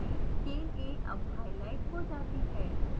chain a अब highlight हो जाती है